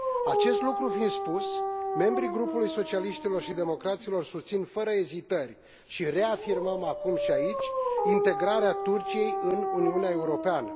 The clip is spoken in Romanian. Acest lucru fiind spus, membrii Grupului Socialiștilor și Democraților susțin fără ezitări și reafirmăm acum și aici integrarea Turciei în Uniunea Europeană.